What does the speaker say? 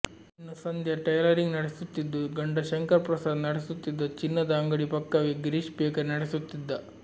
ಇನ್ನೂ ಸಂಧ್ಯಾ ಟೈಲರಿಂಗ್ ನಡೆಸುತ್ತಿದ್ದು ಗಂಡ ಶಂಕರ್ ಪ್ರಸಾದ್ ನಡೆಸುತ್ತಿದ್ದ ಚಿನ್ನದ ಅಂಗಡಿ ಪಕ್ಕವೇ ಗಿರೀಶ್ ಬೇಕರಿ ನಡೆಸುತ್ತಿದ್ದ